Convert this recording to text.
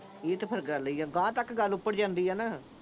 ਇਹ ਤੇ ਫਿਰ ਗੱਲ ਹੀ ਆ। ਅਗਾਂਹ ਤੱਕ ਗੱਲ ਅੱਪੜ ਜਾਂਦੀ ਆ ਨਾ।